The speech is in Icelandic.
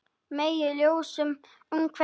Megi ljósið umvefja þig.